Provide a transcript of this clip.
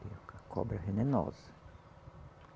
Cobra venenosa.